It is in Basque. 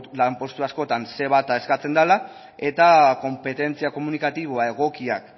postu askotan ce bat a eskatzen dela eta konpetentzia komunikatibo egokiak